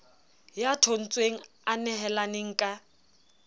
ya thontshweng a nehelaneng ka